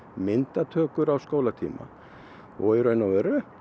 myndatökur á skólatíma og í raun og veru